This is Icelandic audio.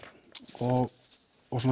og